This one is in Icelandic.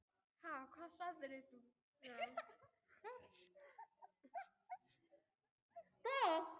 Ha, hvað sagðir þú?